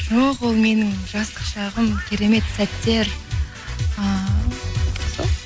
жоқ ол менің жастық шағым керемет сәттер і сол